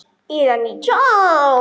Eða nítján?